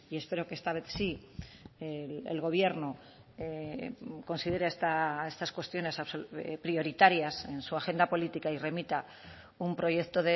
espero que esta vez sí el gobierno considere estas cuestiones prioritarias en su agenda política y remita un proyecto